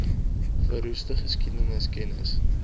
verroeste geskiedenis kennis